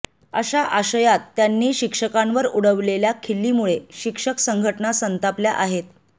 अशा आशयात त्यांनी शिक्षकांवर उडवलेल्या खिल्लीमुळे शिक्षक संघटना संतापल्या आहेत